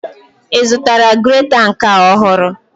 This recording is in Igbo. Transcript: Ị zụtara greta nke a ohuru?